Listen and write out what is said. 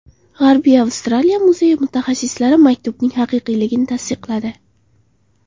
G‘arbiy Avstraliya muzeyi mutaxassislari maktubning haqiqiyligini tasdiqladi.